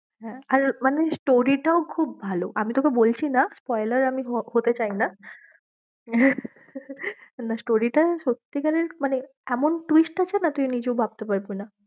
হ্যাঁ, আর মানে story টাও খুব ভালো, আমি তোকে বলছি না আমি হতে চাই না না story টা সত্যিকারের মানে এমন twist আছে না, তুই নিজেও ভাবতে পারবি না।